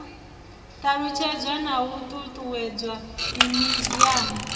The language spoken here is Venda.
ṱalutshedzwa na u ṱuṱuwedzwa mimiziamu